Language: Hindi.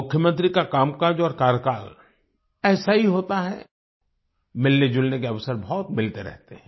मुख्यमंत्री का कामकाज और कार्यकाल ऐसा ही होता है मिलने जुलने के अवसर बहुत मिलते ही रहते हैं